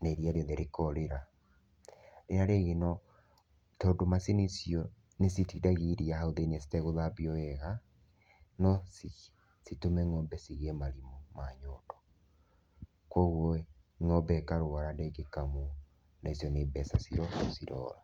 na iria rĩothe rĩkorĩra. Rĩrĩa rĩngĩ no, tondũ macini icio nĩ citindagia iria hau thĩiniĩ citegũthambio wega, no citũme nyondo cigie marimũ ma nyondo. Kũoguo ĩ, ngombe ĩkarũara ndĩngĩkamũo, na icio nĩ mbeca cirora.